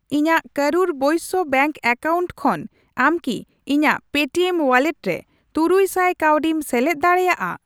ᱤᱧᱟ.ᱜ ᱠᱚᱨᱩᱨ ᱵᱳᱭᱥᱚ bank account ᱠᱷᱚᱱ ᱟᱢ ᱠᱤ ᱤᱧᱟᱜ ᱯᱮᱴᱤᱮᱢ ᱣᱟᱞᱞᱮᱴ ᱨᱮ ᱛᱩᱨᱩᱭᱥᱟᱭ ᱠᱟᱹᱣᱰᱤᱢ ᱥᱮᱞᱮᱫ ᱫᱟᱲᱮᱭᱟᱜᱼᱟ ?